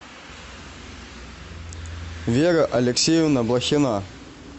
вера алексеевна блохина